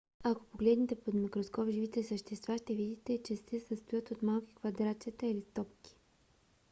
ако погледнете под микроскоп живите същества ще видите че се състоят от малки квадратчета или топки